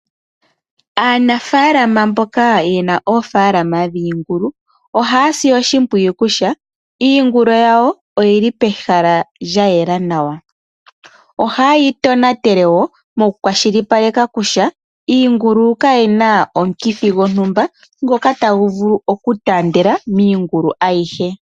Aanafalama mboka yena oofalama dhiingulu ohaya si oshimpwiyu kutya iingulu yawo oyili pehala lya yela nawa. Ohaye yi tonatele wo moku kwashilipaleka kutya iingulu kayi na omukithi gontumba ngoka tagu vulu okutandela miingulu ayihe.